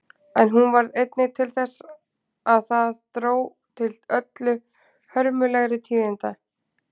En hún varð einnig til þess að það dró til öllu hörmulegri tíðinda.